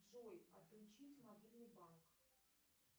джой отключить мобильный банк